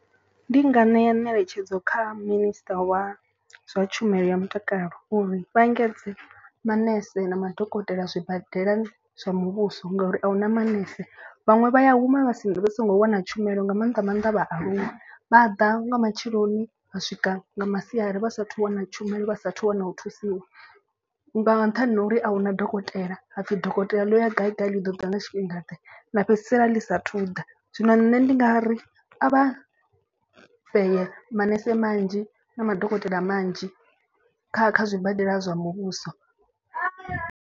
Ndi nga ṋea ngeletshedzo kha minister wa zwa tshumelo ya mutakalo uri vha engedze manese na madokotela zwibadela zwa muvhuso. Ngauri a huna manese vhaṅwe vha ya huma vha si vha so ngo wana tshumelo nga mannḓa maanḓa vhaaluwa. Vha ḓa nga matsheloni u vha swika nga masiari vha sa athu u wana tshumelo vha sathu wana u thusiwa. Nga nṱhani ha uri ahuna dokotela hapfi dokotela ḽo ya gai gai ḽi ḓo ḓa na tshifhingaḓe ḽa fhedzisela ḽi sathu ḓa. Zwino nṋe ndi nga ri a vha fhedze manese manzhi na madokotela manzhi kha kha zwibadela zwa muvhuso.